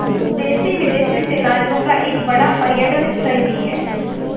देशी विदेशी सैलानियों का एक बड़ा पर्यटन स्थल भी है